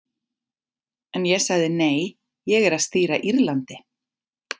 En ég sagði nei, ég er að stýra Írlandi.